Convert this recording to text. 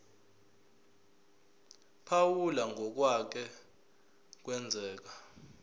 phawula ngokwake kwenzeka